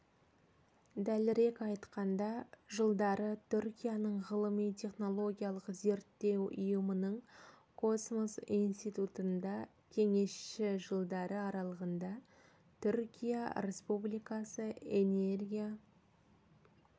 дәлірек айтқанда жылдары түркияның ғылыми-технологиялық зерттеу ұйымының космос институтында кеңесші жылдары аралығында түркия республикасы энергия